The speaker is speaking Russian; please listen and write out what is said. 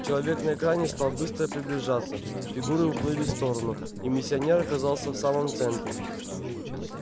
человек на экране стал быстро приближаться фигуры уплыли в сторону и миссионер оказался в самом центре